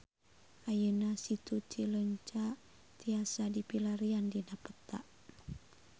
Ayeuna Situ Cileunca tiasa dipilarian dina peta